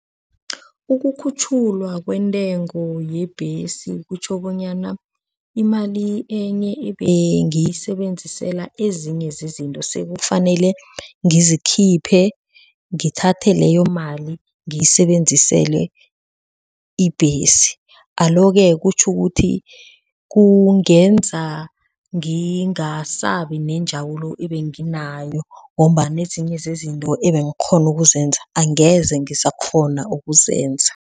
Ukukhutjhulwa kwentengo yebhesi kutjho bonyana imali enye ebengiyisebenzisela ezinye zezinto sekufanele ngizikhiphe ngithathe leyo mali ngiyisebenzisele ibhesi. Alo-ke, kutjho ukuthi kungenza ngingase akabi nenjabulo ebengi nayo ngombana ezinye zezinto ebangikghona ukuzenza angeze ngisakghona ukuzenza.